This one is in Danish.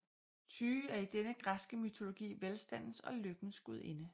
Tyche er i den græske mytologi velstandens og lykkens gudinde